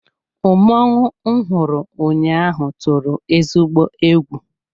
Mmọnwụ m hụrụ ụnyaahụ tụrụ ezigbo egwu.